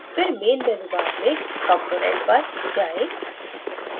फिर main menu bar में component पर जाएं